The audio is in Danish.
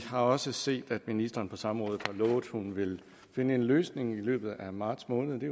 har også set at ministeren på samrådet har lovet at hun vil finde en løsning i løbet af marts måned